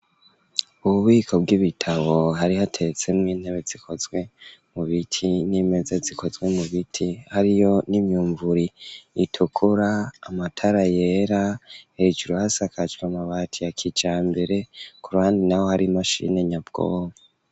Ububiko bw'ibitabo hari hateretse mw'intebe zikozwe mu biti n'imeze zikozwe mu biti hariyo n'imyumvuri itukura amatara yera hejuru hasakajwe amabati ya kijambere ku ruhande naho hari imashini nyabwoba.